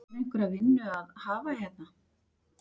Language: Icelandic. Er einhverja vinnu að hafa hérna?